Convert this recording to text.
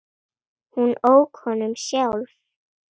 Hún ók honum sjálf.